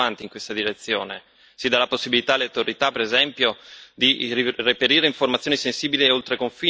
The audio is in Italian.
Si dà la possibilità alle autorità, per esempio, di reperire informazioni sensibili oltre confine, come i flussi finanziari.